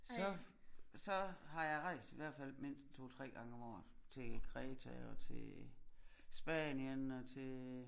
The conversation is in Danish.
Så så har jeg rejst i hvert fald mindst en 2 3 gange om året til Kreta og til Spanien og til